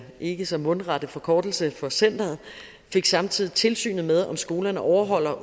ikke så mundrette forkortelse for centeret fik samtidig tilsynet med om skolerne overholder